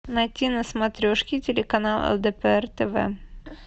найти на смотрешке телеканал лдпр тв